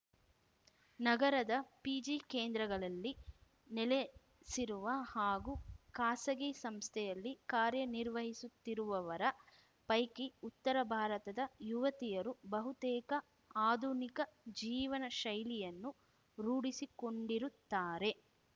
ನಗರದ ಪಿಜಿ ಕೇಂದ್ರಗಳಲ್ಲಿ ನೆಲೆಸಿರುವ ಹಾಗೂ ಖಾಸಗಿ ಸಂಸ್ಥೆಯಲ್ಲಿ ಕಾರ್ಯನಿರ್ವಹಿಸುತ್ತಿರುವವರ ಪೈಕಿ ಉತ್ತರ ಭಾರತದ ಯವತಿಯರು ಬಹುತೇಕ ಆಧುನಿಕ ಜೀವನ ಶೈಲಿಯನ್ನು ರೂಢಿಸಿಕೊಂಡಿರುತ್ತಾರೆ